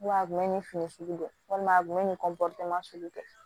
a kun bɛ nin fini sugu kɛ walima a kun bɛ nin sugu kɛ